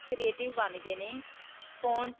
creative ਬਣ ਗਏ ਨੇ. phone.